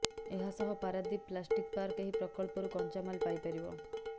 ଏହା ସହ Paradip plastic park ଏହି ପ୍ରକଳ୍ପରୁ କଞ୍ଚା ମାଲ ପାଇପାରିବ